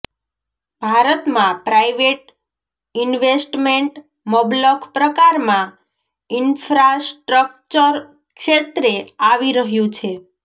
ભારતમાં private investment મબલખ પ્રકારમાં ઇન્ફ્રાસ્ટ્રક્ચર ક્ષેત્રે આવી રહ્યું છે